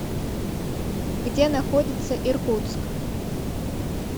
где находится иркутск